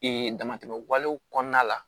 damatɛmɛ walew kɔnɔna la